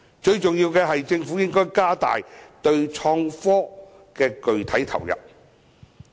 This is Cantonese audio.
最重要的是，政府應該加大對創新科技的具體投入。